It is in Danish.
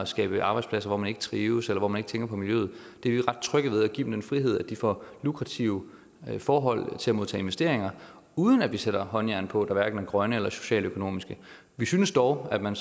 skabe arbejdspladser hvor man ikke trives eller hvor man ikke tænker på miljøet vi er ret trygge ved at give dem den frihed at de får lukrative forhold til at modtage investeringer uden at vi sætter håndjern på hverken grønne eller socialøkonomiske vi synes dog at man